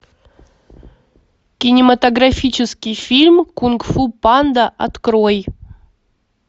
кинематографический фильм кунг фу панда открой